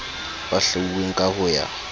ba hlwauweng ka ho ya